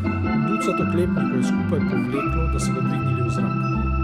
Ducat oklepnikov je skupaj povleklo, da so ga dvignili v zrak.